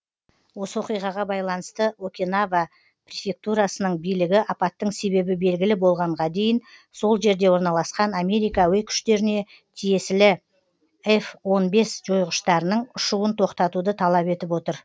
осы оқиғаға байланысты окинава префектурасының билігі апаттың себебі белгілі болғанға дейін сол жерде орналасқан америка әуе күштеріне тиесілі ғ он бес жойғыштарының ұшуын тоқтатуды талап етіп отыр